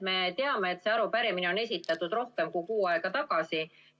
Me teame, et see arupärimine on esitatud rohkem kui kuu aega tagasi.